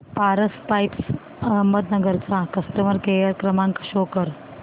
Paras pipes Ahmednagar चा customer care क्रमांक show करा